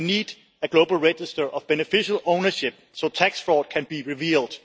we need a global register of beneficial ownership so that tax fraud can be revealed